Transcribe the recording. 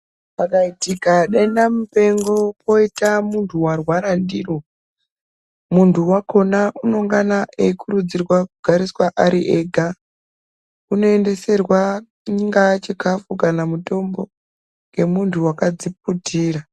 Kwakaitika denda mupengo poita muntu unorwara ndiro muntu wakona unengana eikurudzirwa kugara ariega unoendeserwa chinga chikafu kanamutombo ngemuntu wakadziputira.